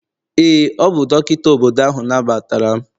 ee, ọ bụ dọkịta obodo ahụ nabatara m